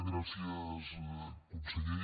gràcies conseller